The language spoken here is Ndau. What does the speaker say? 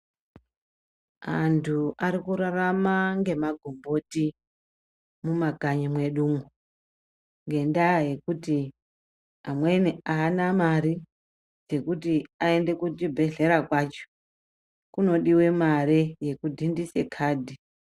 Antu ari kurarama ngemagomboti mumakanyi mwedumwo , ngendaa yekuti amweni aana mare, dzekuti aende kuzvibhedhlera kwacho kunodiwe mare yekudhindise khadhi.